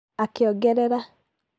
"akiongerera